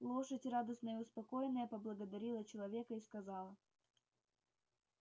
лошадь радостная и успокоенная поблагодарила человека и сказала